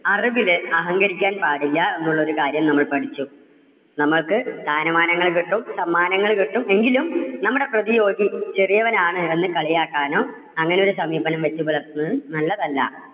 അറിവില് അഹങ്കരിക്കാൻ പാടില്ല എന്നുള്ള ഒരു കാര്യം നമ്മൾ പഠിച്ചു. നമുക്ക് സ്ഥാനമാനങ്ങൾ കിട്ടും സമ്മാനങ്ങള് കിട്ടും എങ്കിലും നമ്മുടെ പ്രതിയോഗി ചെറിയവൻ ആണ് എന്ന് കളിയാക്കാനോ അങ്ങനെ ഒരു സമീപനം വെച്ചുപുലർത്തുന്നതും നല്ലതല്ല.